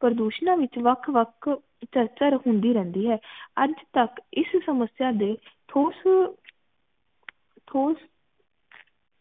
ਪ੍ਰਦੁਸ਼ਨਾਂ ਵਿਚ ਵੱਖ ਵੱਖ ਚਰਚਾ ਹੁੰਦੀ ਰਹਿੰਦੀ ਹੈ ਅੱਜ ਤਕ ਇਸ ਸਮਸਿਆ ਦੇ ਠੁਸ ਠੁਸ